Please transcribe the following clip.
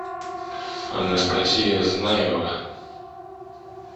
анастасия знаева